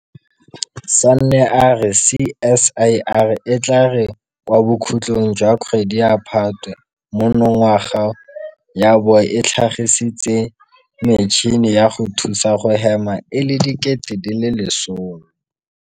Sanne a re CSIR e tla re kwa bokhutlong jwa kgwedi ya Phatwe monongwaga ya bo e tlhagisitse metšhini ya go thusa go hema e le 10 000.